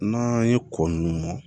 N'an ye kɔ ninnu